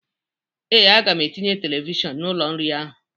Ee, aga m etinye televishọn n'ụlọ nri ahụ.